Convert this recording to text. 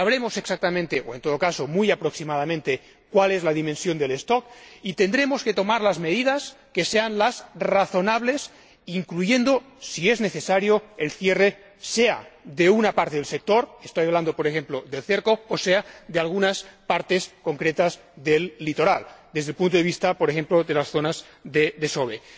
Sabremos exactamente o, en todo caso, muy aproximadamente cuál es la dimensión del stock y tendremos que tomar las medidas que sean razonables, incluyendo, si es necesario, el cierre sea de una parte del sector estoy hablando, por ejemplo, del cerco sea de algunas partes concretas del litoral, desde el punto de vista, por ejemplo, de las zonas de desove.